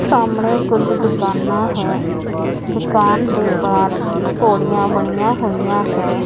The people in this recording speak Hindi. सामने कुछ दुकाना है दुकान है।